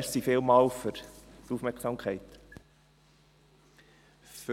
Für